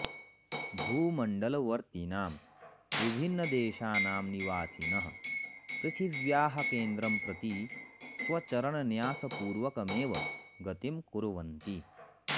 भूमण्डलवर्त्तिनां विभिन्नदेशानां निवासिनः पृथिव्याः केन्द्रं प्रति स्वचरणन्यासपूर्वकमेव गतिं कुर्वन्ति